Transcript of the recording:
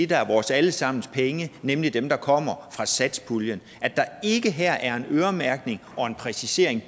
der er vores alle sammens penge nemlig dem der kommer fra satspuljen at der ikke her politisk er en øremærkning og en præcisering